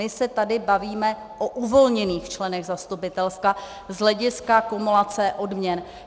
My se tady bavíme o uvolněných členech zastupitelstva z hlediska kumulace odměn.